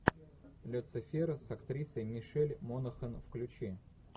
люцифера с актрисой мишель монахэн включи